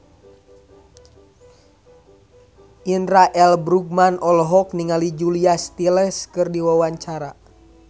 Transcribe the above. Indra L. Bruggman olohok ningali Julia Stiles keur diwawancara